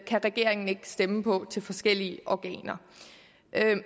regeringen ikke stemme på til forskellige organer